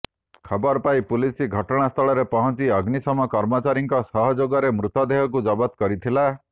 ଖବର ପାଇ ପୁଲିସ ଘଟଣା ସ୍ଥଳରେ ପହଞ୍ଚି ଅଗ୍ନିଶମ କର୍ମଚାରୀଙ୍କ ସହଯୋଗରେ ମୃତଦେହକୁ ଜବତ କରିଥିଲା